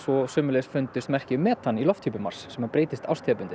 sömuleiðis fundust merki um metan í lofthjúpi Mars sem breytist árstíðabundið